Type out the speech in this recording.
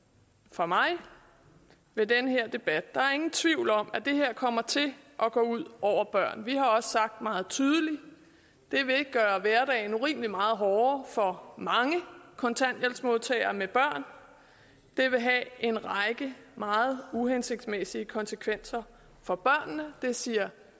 for mig ved den her debat der er ingen tvivl om at det her kommer til at gå ud over børn vi har også sagt meget tydeligt at det vil gøre hverdagen urimeligt meget hårdere for mange kontanthjælpsmodtagere med børn det vil have en række meget uhensigtsmæssige konsekvenser for børnene det siger